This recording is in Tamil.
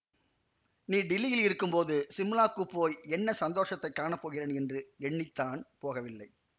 நீ டில்லியில் இருக்கும் போது சிம்லாக்குப் போய் என்ன சந்தோஷத்தைக் காண போகிறேன் என்று எண்ணி தான் போகவில்லை